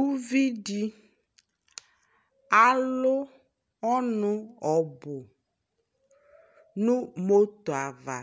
Uvidi alu ɔnu ɔbu nu moto ava